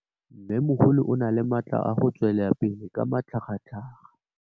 Mmêmogolo o na le matla a go tswelela pele ka matlhagatlhaga.